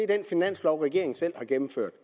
den finanslov regeringen selv har gennemført